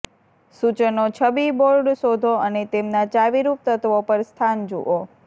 સૂચનો છબી બોર્ડ શોધો અને તેમના ચાવીરૂપ તત્વો પર સ્થાન જુઓ